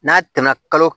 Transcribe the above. N'a tɛmɛna kalo